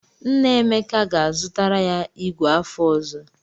Nna Emeka ga-azụtara ya ìgwè afọ ọzọ.